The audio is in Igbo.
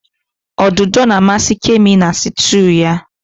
Odudu na-amasị Kemi na sịtịụ ya.